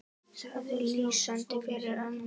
Það er lýsandi fyrir ömmu.